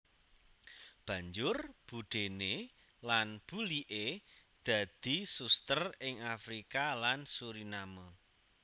Banjur budéné lan buliké dadi suster ing Afrika lan Suriname